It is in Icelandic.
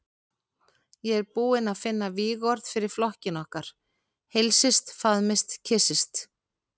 Ég er búinn að finna vígorð fyrir flokkinn okkar: Heilsist, faðmist, kyssist.